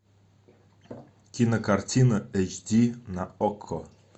кинокартина эйч ди на окко